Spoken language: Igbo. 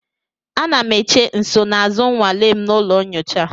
Ana m eche nsonaazụ nnwale m na ụlọ nyocha.